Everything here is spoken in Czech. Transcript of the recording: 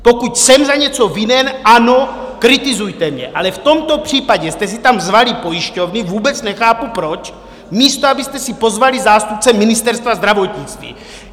Pokud jsem za něco vinen, ano, kritizujte mě, ale v tomto případě jste si tam zvali pojišťovny, vůbec nechápu proč, místo abyste si pozvali zástupce Ministerstva zdravotnictví.